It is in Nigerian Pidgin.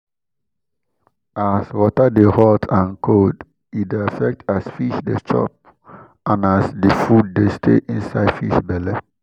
as water de hot and cold e de affect as fish de chop and as d food de stay inside fish belle